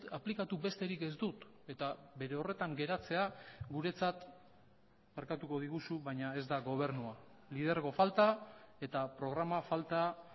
aplikatu besterik ez dut eta bere horretan geratzea guretzat barkatuko diguzu baina ez da gobernua lidergo falta eta programa falta